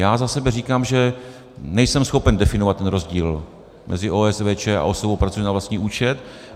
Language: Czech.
Já za sebe říkám, že nejsem schopen definovat ten rozdíl mezi OSVČ a osobou pracující na vlastní účet.